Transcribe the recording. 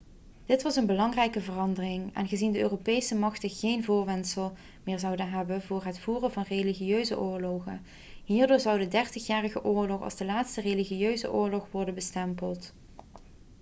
dit was een belangrijke verandering aangezien de europese machten geen voorwendsel meer zouden hebben voor het voeren van religieuze oorlogen hierdoor zou de dertigjarige oorlog als de laatste religieuze oorlog kunnen worden bestempeld